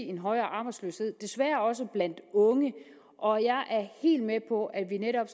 en højere arbejdsløshed desværre også blandt unge og jeg er helt med på at vi netop